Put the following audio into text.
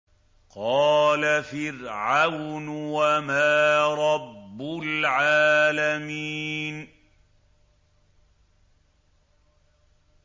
قَالَ فِرْعَوْنُ وَمَا رَبُّ الْعَالَمِينَ